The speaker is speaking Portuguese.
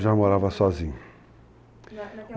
Já morava sozinho.